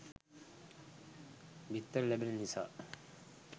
බිත්තර ලැබෙන නිසා